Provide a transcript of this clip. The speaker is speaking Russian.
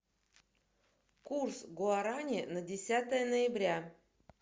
курс гуарани на десятое ноября